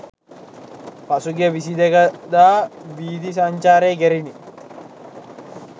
පසුගිය 22 දා වීථි සංචාරය කෙරිණි.